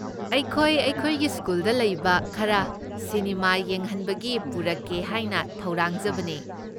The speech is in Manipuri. ꯑꯩꯈꯣꯏ ꯑꯩꯈꯣꯏꯒꯤ ꯁ꯭ꯀꯨꯜꯗ ꯂꯩꯕ ꯈꯔ ꯁꯤꯅꯤꯃꯥ ꯌꯦꯡꯍꯟꯕꯒꯤ ꯄꯨꯔꯛꯀꯦ ꯍꯥꯏꯅ ꯊꯧꯔꯥꯡꯖꯕꯅꯦ꯫